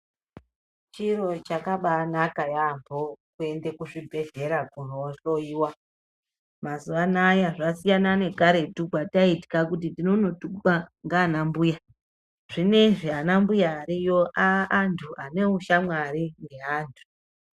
Chiro chakabanaka yampho kuende kuzvibhedhlera kunohloyiwa mazuwanaya zvasiyana nekaretu kwataitya kuti tinonotukwa nganambuya zvinezvi anambuya ariyo ava antu ane ushamwari neantu.